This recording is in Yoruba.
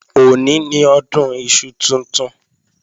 Òní ni Ọdún iṣu tuntun